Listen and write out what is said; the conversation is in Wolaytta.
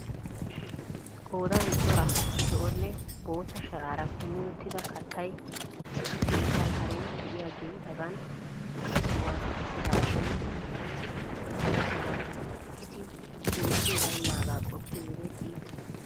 Qoodan cora zo'onne bootta sharaara kumi uttida kattay issi keettaa karen de'iyaagee hagan issi sohuwaan uttidashin qasi hara sohuwaan issi jooke baynnaaga qoppiyoo wode iitees.